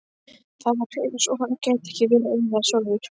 Það var eins og hann gæti ekki verið einlægur sjálfur.